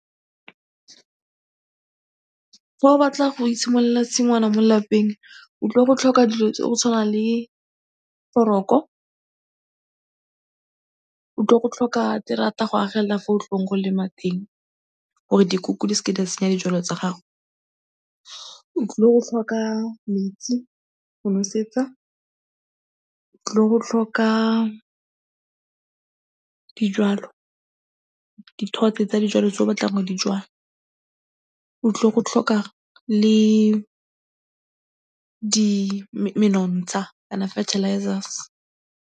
Fa o batla go itshimololela tshingwana mo lelapeng, o tlile go tlhoka dilo tsa go tshwana le foroko, o tlile go tlhoka terata go agelela fa o tlileng go lema teng gore dikoko di se ke tsa senya dijalo tsa gago, o tlile go tlhoka metsi go nosetsa, o tlile go tlhoka dijalo, dithotse tsa dijalo tse o batlang go di jwala, o tlile go tlhoka le menontsha kana fertilizers.